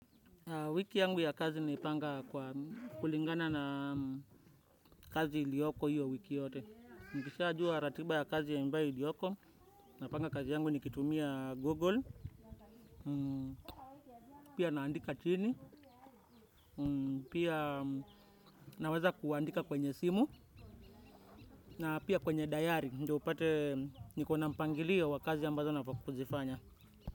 Wiki yangu ya kazi napanga kulingana na kazi ilioko hiyo wiki yote. Mkishaajua ratiba ya kazi ambayo ilioko, napanga kazi yangu nikiitumia Google, pia naandika chini, pia naweza kuandika kwenye simu, na pia kwenye dayari, ndo nipate nikona mpangilio wa kazi ambazo nafaa kuzifanya.